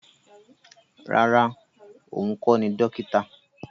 Rárá, òun kọ́ ni dókítà